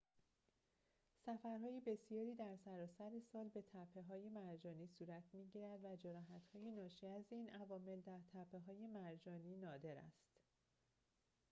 سفرهای بسیاری در سراسر سال به تپه‌های مرجانی صورت می‌گیرد و جراحت‌های ناشی از این عوامل در تپه‌های مرجانی نادر است